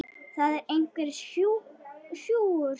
Það er einhver súgur.